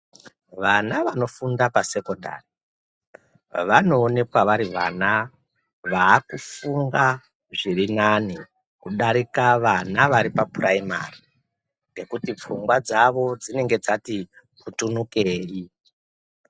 Vana vanofunda pa sekondari vanoonekwa vari vana vakufunga zvirinani kudarika vana vari paPuraimari ngekuti pfungwa dzavo dzinenge dzati putunukirei wo.